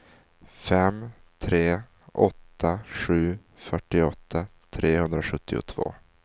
fem tre åtta sju fyrtioåtta trehundrasjuttiotvå